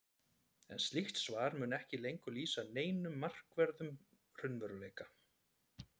en slíkt svar mundi ekki lengur lýsa neinum markverðum raunveruleika